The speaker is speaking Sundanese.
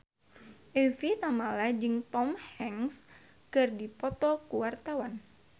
Evie Tamala jeung Tom Hanks keur dipoto ku wartawan